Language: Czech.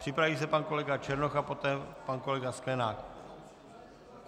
Připraví se pan kolega Černoch a poté pan kolega Sklenák.